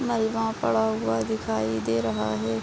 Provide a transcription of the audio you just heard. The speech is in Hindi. मलवा पड़ा हुआ दिखाई दे रहा है|